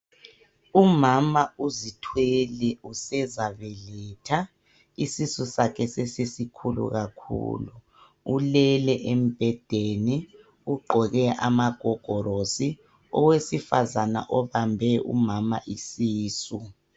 Umama uzithwele usezabeletha isisu sakhe sesisikhulu kakhulu, ulele embhedeni ugqoke amagogorosi, owesifazana obambe umama isisu.